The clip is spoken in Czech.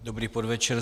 Dobrý podvečer.